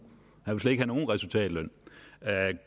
resultatløn